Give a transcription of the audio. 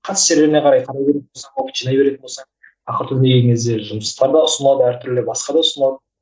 қатысты жерлеріне қарай жинай беретін болса ақыры түбіне келген кезде жұмыстар да ұсынылады әртүрлі басқа да ұсынылады